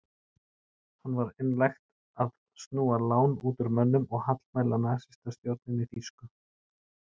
Hann var einlægt að snúa lán út úr mönnum og hallmæla nasistastjórninni þýsku.